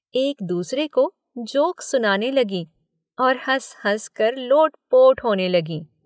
एक दूसरे को जोक्स सुनाने लगीं और हंस-हंसकर लोटपोट होने लगीं।